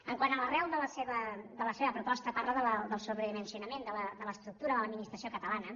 quant a l’arrel de la seva proposta parla del sobredimensionament de l’estructura de l’administració catalana